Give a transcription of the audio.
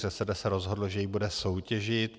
ŘSD se rozhodlo, že ji bude soutěžit.